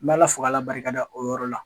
N b' ala fo k' ala barikada o yɔrɔ la.